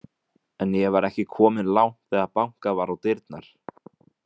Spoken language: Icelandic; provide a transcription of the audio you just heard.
En ég var ekki kominn langt þegar bankað var á dyrnar.